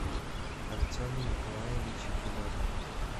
артему николаевичу федотову